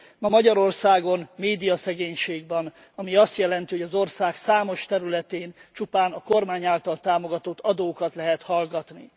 Ma Magyarországon médiaszegénység van, ami azt jelenti, hogy az ország számos területén csupán a kormány által támogatott adókat lehet hallgatni.